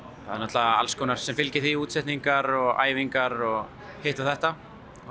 það er náttúrulega alls konar sem fylgir því útsetningar og æfingar og hitt og þetta